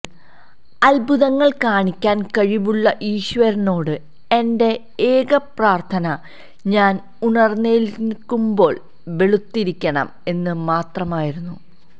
അത്ഭുതങ്ങൾ കാണിക്കാൻ കഴിവുള്ള ഈശ്വരനോട് എന്റെ ഏകപ്രാർത്ഥന ഞാൻ ഉണർന്നെഴുന്നേൽക്കുമ്പോൾ വെളുത്തിരിക്കണം എന്ന് മാത്രമായിരുന്നു